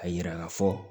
A yira ka fɔ